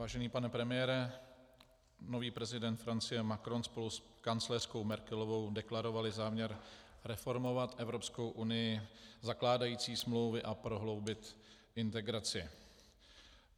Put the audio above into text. Vážený pane premiére, nový prezident Francie Macron spolu s kancléřkou Merkelovou deklarovali záměr reformovat Evropskou unii, zakládající smlouvy a prohloubit integraci.